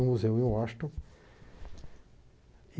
Num museu em Washington.